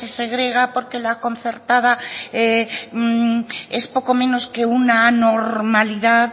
se segrega porque la concertada es poco menos que una anormalidad